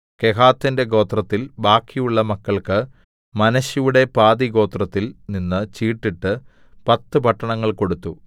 കെഹാത്തിന്റെ ഗോത്രത്തിൽ ബാക്കിയുള്ള മക്കൾക്ക് മനശ്ശെയുടെ പാതിഗോത്രത്തിൽ നിന്ന് ചീട്ടിട്ടു പത്ത് പട്ടണങ്ങൾ കൊടുത്തു